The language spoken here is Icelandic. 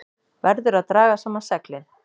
Verður að draga saman seglin